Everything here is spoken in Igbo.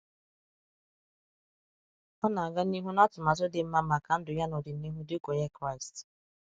Ọ na-aga n’ihu na atụmatụ dị mma maka ndụ ya n’ọdịnihu dị ka Onye Kraịst.